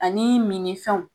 Anii mini fɛnw